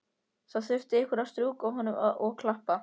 Það þurfti einhver að strjúka honum og klappa.